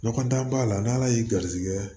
Ɲɔgɔn dan b'a la n'ala y'i garizigɛ